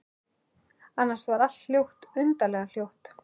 Annars var allt hljótt, undarlega hljótt.